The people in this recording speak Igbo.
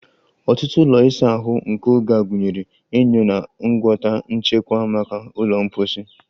Ọtụtụ ụlọ ịsa ahụ nke oge a gụnyere enyo na ngwọta nchekwa maka ụlọ mposi